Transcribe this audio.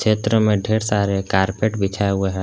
चित्र में ढेर सारे कॉरपेट बिछाए हुए हैं।